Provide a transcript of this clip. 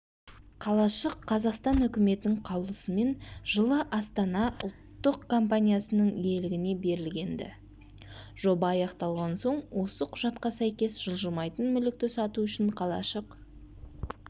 қалашық қазақстан үкіметінің қаулысымен жылы астана ұлттық компаниясының иелігіне берілген-ді жоба аяқталған соң осы құжатқа сәйкес жылжымайтын мүлікті сату үшін қалашық